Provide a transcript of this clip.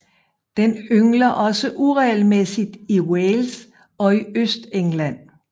Den yngler også uregelmæssigt i Wales og i Østengland